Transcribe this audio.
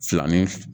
Filani f